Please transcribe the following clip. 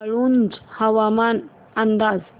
वाळूंज हवामान अंदाज